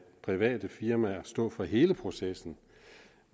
private firmaer stå for hele processen